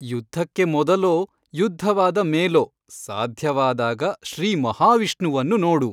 ಯುದ್ಧಕ್ಕೆ ಮೊದಲೋ ಯುದ್ಧವಾದ ಮೇಲೋ ಸಾಧ್ಯವಾದಾಗ ಶ್ರೀಮಹಾವಿಷ್ಣುವನ್ನು ನೋಡು.